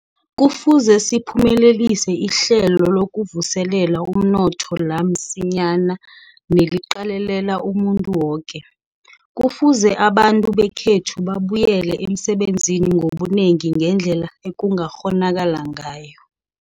Kufuze siphumelelise ihlelo lokuvuselela umnotho la msinyana neliqalelela umuntu woke. Kufuze abantu bekhethu babuyele emsebenzini ngobunengi ngendlela ekungakghonakala ngayo.